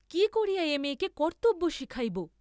কি করিয়া এ মেয়েকে কর্ত্তব্য শিখাইব?